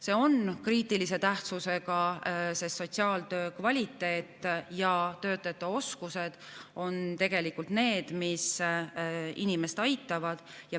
See on kriitilise tähtsusega, sest sotsiaaltöö peab olema kvaliteetne ja töötajate oskused on tegelikult need, mis võimaldavad inimest aidata.